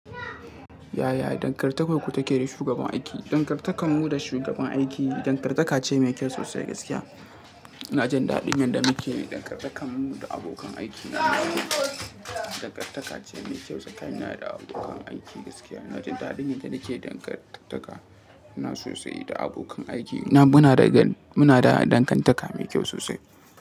Yaya dangantakarku take da shugaban aiki? Dangantakar mu da shugaban aiki dangartaka ce mai kyau sosai gaskiya. Ina jin daɗin yadda muke dangantakar mu da abokan aiki na dangartaka ce mai kyau, tsakanina da abokan aiki gaskiya. Na ji daɗin yadda nake dangartaka nq sosai da abokan aiki. Muna da dangantaka mai kyau sosai.